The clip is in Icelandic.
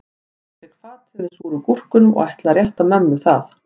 Ég tek fatið með súru gúrkunum og ætla að rétta mömmu það